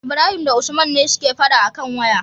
Ibrahim da usman ne suke faɗa akan waya